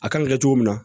A kan ka kɛ cogo min na